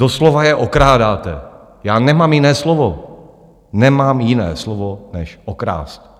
Doslova je okrádáte, já nemám jiné slovo, nemám jiné slovo než okrást.